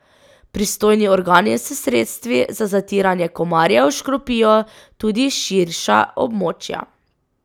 Pristojni organi s sredstvi za zatiranje komarjev škropijo tudi širša območja.